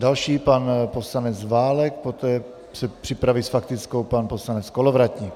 Další pan poslanec Válek, poté se připraví s faktickou pan poslanec Kolovratník.